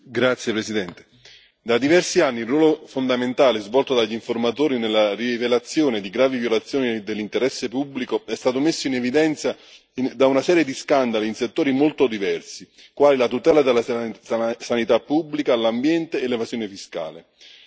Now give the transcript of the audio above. Signor Presidente, onorevoli colleghi, da diversi anni il ruolo fondamentale svolto dagli informatori nella rivelazione di gravi violazioni dell'interesse pubblico è stato messo in evidenza da una serie di scandali in settori molto diversi, quali la tutela della sanità pubblica, l'ambiente e l'evasione fiscale.